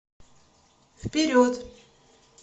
вперед